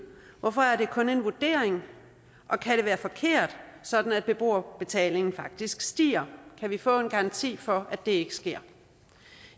hvorfor er det kun en vurdering og kan det være forkert sådan at beboerbetalingen faktisk stiger kan vi få en garanti for at det ikke sker